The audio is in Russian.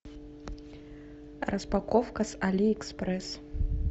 распаковка с али экспресс